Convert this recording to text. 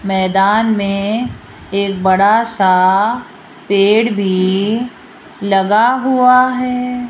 मैदान में एक बड़ा सा पेड़ भी लगा हुआ है।